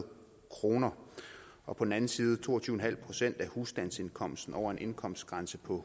kroner og på den anden side to og tyve en halv procent af husstandsindkomsten over en indkomstgrænse på